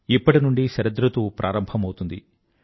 ఇప్పటి నుండీ శరదృతువు ప్రారంభమవుతుంది